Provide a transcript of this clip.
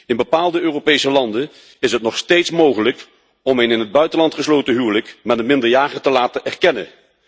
In bepaalde Europese landen is het nog steeds mogelijk om een in het buitenland gesloten huwelijk met een minderjarige te laten erkennen.